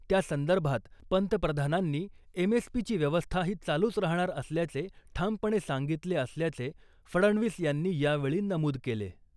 त्यासंदर्भात पंतप्रधानांनी एम.एस.पी.ची व्यवस्था ही चालूच राहणार असल्याचे ठामपणे सांगितले असल्याचे फडणवीस यांनी यावेळी नमूद केले .